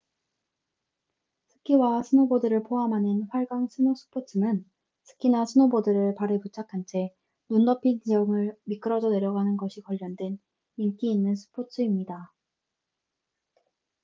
스키와 스노보드를 포함하는 활강 스노 스포츠는 스키나 스노보드를 발에 부착한 채 눈 덮인 지형을 미끄러져 내려가는 것이 관련된 인기 있는 스포츠입니다